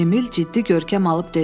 Emil ciddi görkəm alıb dedi.